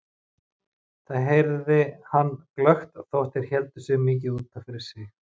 Það heyrði hann glöggt þó þeir héldu sig mikið út af fyrir sig.